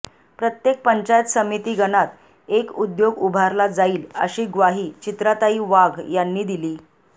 प्रत्येक पंचायत समिती गणात एक उद्योग उभारला जाईल अशी ग्वाही चित्राताई वाघ यांनी दिली